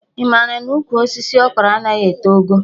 Ị mara na ụkwụ osisi Okro anaghị eto ogo?